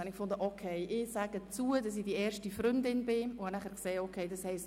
Deswegen habe ich mich dazu entschieden, die erste Freundin des Zirkus zu sein.